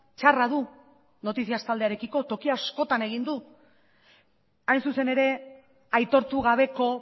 txarra du noticias taldearekiko toki askotan egin du hain zuzen ere aitortu gabeko